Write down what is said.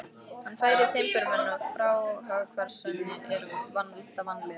Hann fær timburmenn og fráhvarfseinkenni er valda vanlíðan.